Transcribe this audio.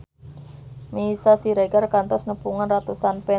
Meisya Siregar kantos nepungan ratusan fans